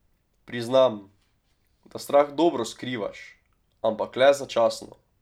Priznam, da strah dobro skrivaš, ampak le začasno.